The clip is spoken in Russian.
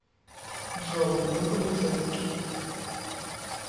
джой вы полицейский